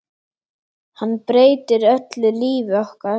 Hann breytir öllu lífi okkar.